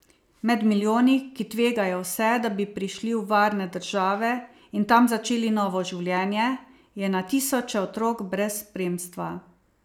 Med milijoni, ki tvegajo vse, da bi prišli v varne države in tam začeli novo življenje, je na tisoče otrok brez spremstva.